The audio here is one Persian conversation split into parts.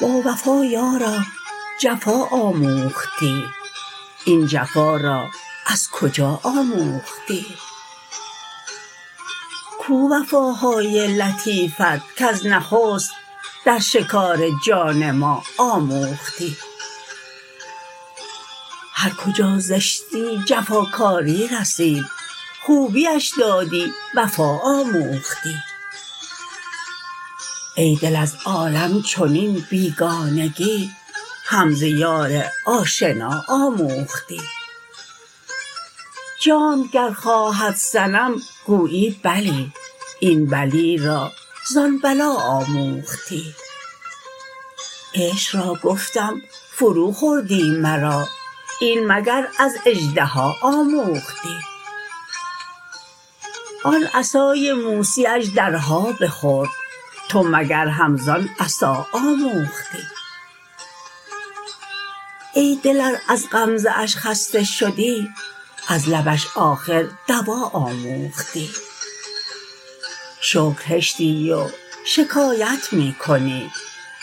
باوفا یارا جفا آموختی این جفا را از کجا آموختی کو وفاهای لطیفت کز نخست در شکار جان ما آموختی هر کجا زشتی جفاکاری رسید خوبیش دادی وفا آموختی ای دل از عالم چنین بیگانگی هم ز یار آشنا آموختی جانت گر خواهد صنم گویی بلی این بلی را زان بلا آموختی عشق را گفتم فروخوردی مرا این مگر از اژدها آموختی آن عصای موسی اژدرها بخورد تو مگر هم زان عصا آموختی ای دل ار از غمزه اش خسته شدی از لبش آخر دوا آموختی شکر هشتی و شکایت می کنی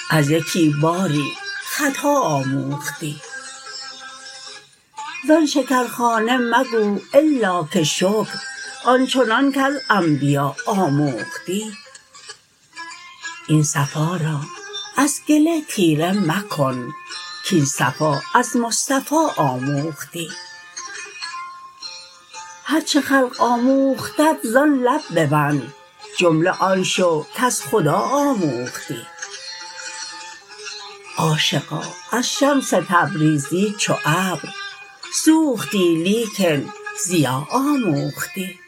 از یکی باری خطا آموختی زان شکرخانه مگو الا که شکر آن چنان کز انبیا آموختی این صفا را از گله تیره مکن کاین صفا از مصطفی آموختی هر چه خلق آموختت زان لب ببند جمله آن شو کز خدا آموختی عاشقا از شمس تبریزی چو ابر سوختی لیکن ضیا آموختی